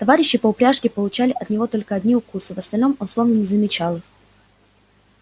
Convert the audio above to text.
товарищи по упряжке получали от него только одни укусы в остальном он словно не замечал их